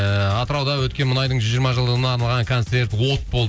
ыыы атырауда өткен мұнайдың жүз жиырма жылдығына арналған концерт от болды